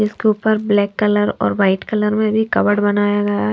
इसके ऊपर black colour और वाइट कलर में भी कवर्ड बनाया गया है।